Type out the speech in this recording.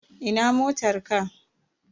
Ina motar ka?